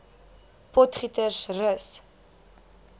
potgietersrus